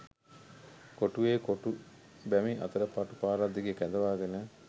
කොටුවේ කොටු බැමි අතර පටු පාරක් දිගේ කැඳවාගෙන